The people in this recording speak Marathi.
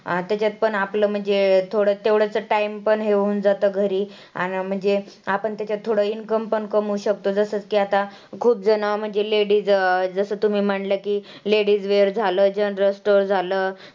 तेच्या पण आपलं म्हणजे थोडं तेवढंच जर time पण होऊन जातं घरी. आणि म्हणजे आपण तेच्यात थोडं income पण कमवू शकतो, जसं की आता खूपजणं म्हणजे ladies जसं तुम्ही म्हंटला की ladies wear झालं, general store झालं.